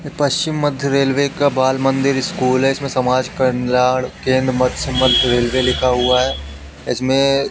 पश्चिम मध्य रेलवे का बाल मंदिर स्कूल है इसमें समाज कल्याण केंद्र मस्य मध्य रेलवे लिखा हुआ है इसमें--